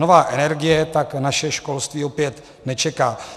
Nová energie tak naše školství opět nečeká.